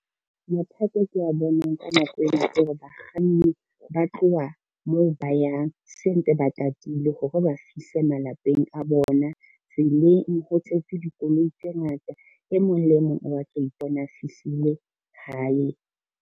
Mathata e ke a boneng ka nako ena kore bakganni ba tloha moo ba yang sentse ba tatile hore ba fihle malapeng a bona. Tseleng ho tletse dikoloi tse ngata, e mong le mong o batla ho ipona a fihlile hae.